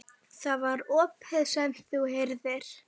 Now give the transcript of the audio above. Það var ópið sem þú heyrðir.